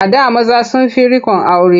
A da maza sun fi riƙon aure.